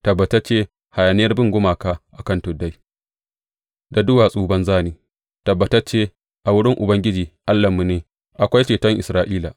Tabbatacce hayaniyar bin gumaka a kan tuddai da duwatsu banza ne; tabbatacce a wurin Ubangiji Allahnmu ne akwai ceton Isra’ila.